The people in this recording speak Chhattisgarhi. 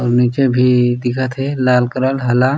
आऊ नीचे भी दिखत हे लाल कलर हला --